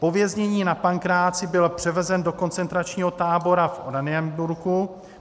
Po věznění na Pankráci byl převezen do koncentračního tábora v Oranienburgu.